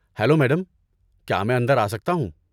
Hello madam, کیا میں اندر آسکتا ہوں؟